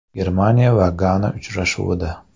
Germaniya va Gana uchrashuvida.